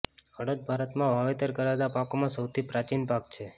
અડદ ભારતમાં વાવેતર કરાતા પાકોમાં સૌથી પ્રાચીન પાક છે